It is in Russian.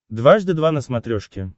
дважды два на смотрешке